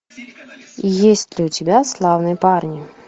есть ли у тебя славные парни